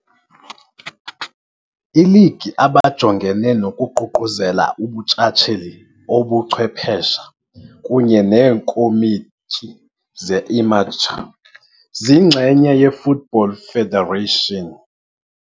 Iiligi, Lega Nazionale Professionisti Serie A, Lega Nazionale Professionisti Serie B, Lega Italiana Calcio Professionistico, Lega Nazionale Amatenti, abajongene nokuququzelela ubuntshatsheli obuchwephesha kunye neekomityi ze-amateur, ziyingxenye ye-Football Federation.